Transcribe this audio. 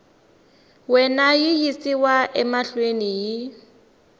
wena yi yisiwa mahlweni hi